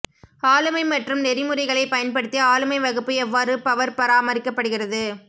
ஆளுமை மற்றும் நெறிமுறைகளைப் பயன்படுத்தி ஆளுமை வகுப்பு எவ்வாறு பவர் பராமரிக்கப்படுகிறது